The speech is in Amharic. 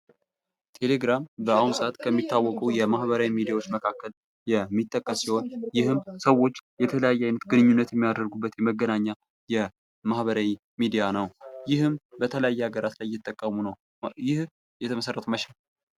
ቴሌግራም በአሁኑ ሰአት ከሚታወቁ የማህበራዊ ሚዲያዎች መካከል የሚጠቀስ ሲሆን ይህም ሰዎች የተለያዩ አይነት ግንኙነት የሚያደርጉበት መገናኛ የማህበራዊ ሚዲያ ነው። ይህም በተለያየ ሀገራት ላይ እየተጠቀሙ ነው። ይህ የተመሠረተው መቼ ነው?